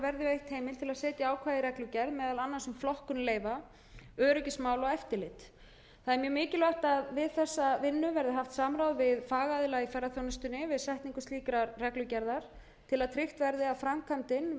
verði veitt heimild til að setja ákvæði í reglugerð meðal annars um flokkun leyfa öryggismál og eftirlit það er mjög mikilvægt að við þessa vinnu verði haft samráð við fagaðila í ferðaþjónustunni við setningu slíkrar reglugerðar til að tryggt verði að framkvæmdin verði sem